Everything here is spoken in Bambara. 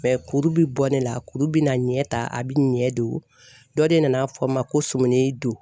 kuru bi bɔ ne la kuru bina ɲɛ ta a bi ɲɛ don dɔ de nana fɔ n ma ko sumini don.